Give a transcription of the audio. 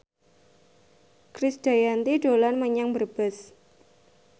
Krisdayanti dolan menyang Brebes